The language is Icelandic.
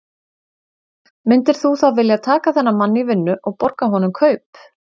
Myndir þú þá vilja taka þennan mann í vinnu og borga honum kaup?